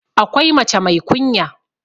akwai mace mai kunya